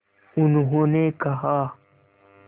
उन्होंने कहा